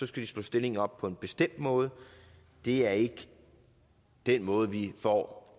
skal slå stillingen op på en bestemt måde er ikke den måde vi får